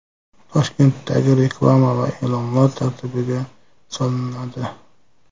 Toshkentdagi reklama va e’lonlar tartibga solinadi.